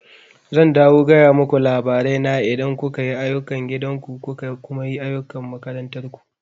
Zan dawo gaya muku labarai na idan kuka yi ayukan gidan ku kuka kuma yi ayukan makarantar ku